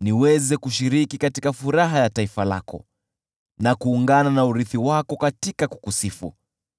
niweze kushiriki katika furaha ya taifa lako, na kuungana na urithi wako katika kukusifu.